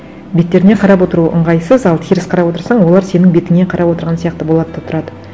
беттеріне қарап отыру ыңғайсыз ал теріс қарап отырсаң олар сенің бетіңе қарап отырған сияқты болады да тұрады